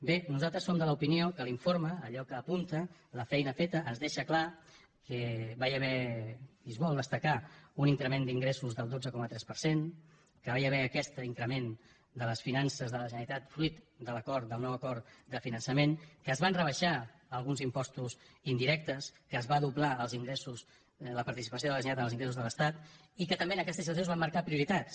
bé nosaltres som de l’opinió que l’informe allò que apunta la feina feta ens deixa clar que hi va haver i es vol destacar un increment d’ingressos del dotze coma tres per cent que hi va haver aquest increment de les finances de la generalitat fruit de l’acord del nou acord de finançament que es van rebaixar alguns impostos indirectes que es va doblar els ingressos la participació de la generalitat en els ingressos de l’estat i que també en aquesta situació es van marcar prioritats